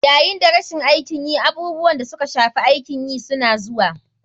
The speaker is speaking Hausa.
Yayin da rashin aikin yi, abubuwan da suka shafi aikin yi suna zuwa.